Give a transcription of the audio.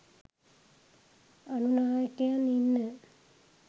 අනු නායකයන් ඉන්න